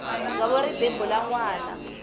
dzovo ri bebula nwana